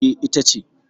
E, ita ce.